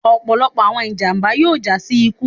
ọpọlọpọ awọn ijamba yoo ja si iku